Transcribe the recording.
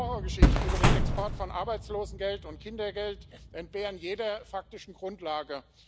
Die Horrorgeschichten über den Export von Arbeitslosengeld und Kindergeld entbehren jeder faktischen Grundlage.